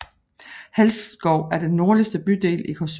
Halsskov er den nordligste bydel i Korsør